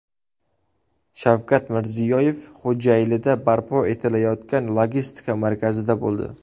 Shavkat Mirziyoyev Xo‘jaylida barpo etilayotgan logistika markazida bo‘ldi.